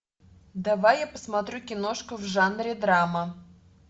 давай я посмотрю киношку в жанре драма